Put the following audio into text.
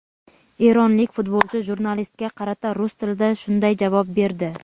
eronlik futbolchi jurnalistga qarata rus tilida shunday javob berdi:.